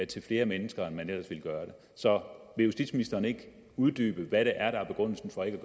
til flere mennesker end man ellers ville gøre det så vil justitsministeren ikke uddybe hvad det er der er begrundelsen for ikke